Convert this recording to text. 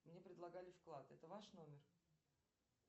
мне предлагали вклад это ваш номер